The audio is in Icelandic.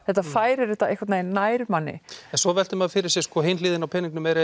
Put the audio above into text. þetta færir þetta einhvern veginn nær manni en svo veltir maður fyrir sér hin hliðin á peningnum er